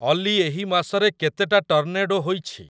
ଅଲି ଏହି ମାସରେ କେତେଟା ଟର୍ନେଡ଼ୋ ହୋଇଛି